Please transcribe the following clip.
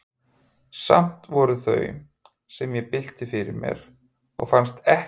Samt voru það þau, sem ég bylti fyrir mér, og fannst ekkert annað skipta máli.